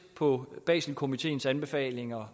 på baselkomiteens anbefalinger